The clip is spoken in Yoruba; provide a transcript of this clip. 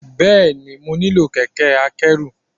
Bẹ́ẹ̀ni, mo nílò kẹ̀kẹ́ akẹ́rù.